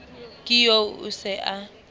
ke eo o se a